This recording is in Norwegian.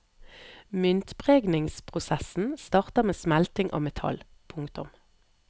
Myntpregningsprosessen starter med smelting av metall. punktum